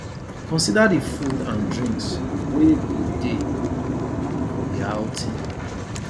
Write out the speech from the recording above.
consider di food and drinks wey go dey for di outing